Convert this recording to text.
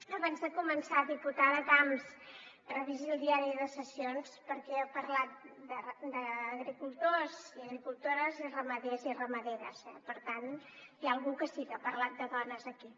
abans de començar diputada camps revisi el diari de ses·sions perquè jo he parlat d’agricultors i agricultores i ramaders i ramaderes eh per tant hi ha algú que sí que ha parlat de dones aquí